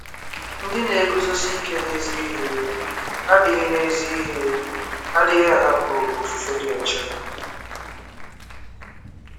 Ndị na-eguzosi ike n'ezi ihe adịghị n'ezi ihe adịghị ahapụ ofufe dị ọcha.